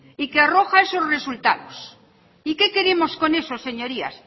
y que arroja esos resultados y qué queremos con eso señorías